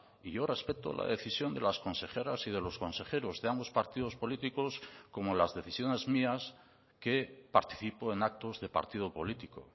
y yo respeto la decisión de las consejeras y de los consejeros de ambos partidos políticos como las decisiones mías que participo en actos de partido político